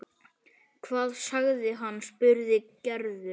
Hvað sagði hann? spurði Gerður.